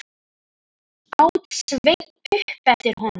át Sveinn upp eftir honum.